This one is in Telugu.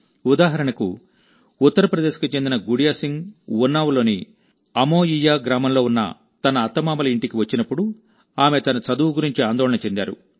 ఉదాహరణకు ఉత్తరప్రదేశ్ కు చెందిన గుడియా సింగ్ ఉన్నావ్లోని అమోయియా గ్రామంలో ఉన్న తన అత్తమామల ఇంటికి వచ్చినప్పుడు ఆమె తన చదువు గురించి ఆందోళన చెందారు